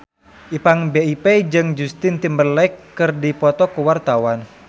Ipank BIP jeung Justin Timberlake keur dipoto ku wartawan